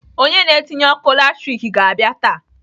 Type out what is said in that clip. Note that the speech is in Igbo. Onye na-etinye ọkụ latrik ga-abịa taa.